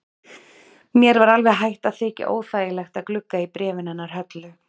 Mér var alveg hætt að þykja óþægilegt að glugga í bréfin hennar Höllu.